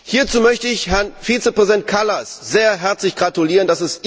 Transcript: Hierzu möchte ich Herrn Vizepräsident Kallas sehr herzlich gratulieren.